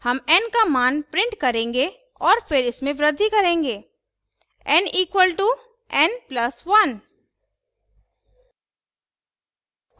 हम n का मान print करेंगे और फिर इसमें वृद्धि करेंगे n equalto n plus 1;